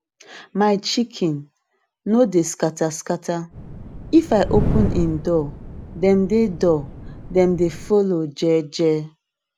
my chicken no dey scatter scatter if i open em door dem dey door dem dey follow jeje